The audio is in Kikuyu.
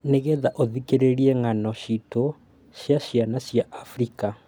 Nĩgetha ũthikĩrĩrie ng'ano citũ cia ciana cia Abirika